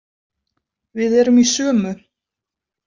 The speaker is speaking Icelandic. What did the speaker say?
Við erum í sömu.